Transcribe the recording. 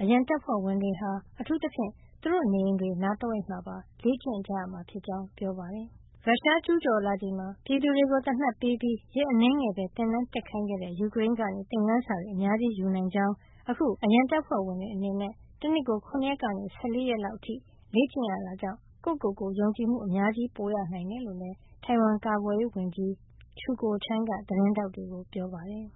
အရန်တပ်ဖွဲ့ဝင်တွေဟာ အထူးသဖြင့် သူတို့နေအိမ်တွေနား တဝိုက်မှာပါ လေ့ကျင့်ကြရမှာဖြစ်ကြောင်း ပြောပါတယ်။ ရုရှားကျူးကျော်လာချိန်မှာ ပြည်သူတွေကို သေနတ်ပေးပြီး ရက်အနည်းငယ်ပဲ သင်တန်းတက်ခိုင်းခဲ့တဲ့ ယူကရိန်းကနေ သင်ခန်းစာတွေ အများကြီးယူနိုင်ကြောင်း၊ အခု အရန်တပ်ဖွဲ့ဝင်တွေ အနေနဲ့ တနှစ်ကို ၇ ရက်ကနေ ၁၄ ရက်လောက်အထိ လေ့ကျင့်ရတာကြောင့် ကိုယ့်ကိုယ်ကို ယုံကြည်မှု အများကြီး ပိုရနိုင်တယ်လို့လည်း ထိုင်ဝမ်ကာကွယ်ရေးဝန်ကြီး Chiu Kuo-cheng က သတင်းထောက်တွေကို ပြောပါတယ်